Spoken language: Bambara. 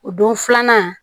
O don filanan